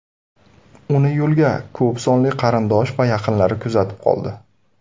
Uni yo‘lga ko‘p sonli qarindosh va yaqinlari kuzatib qoldi.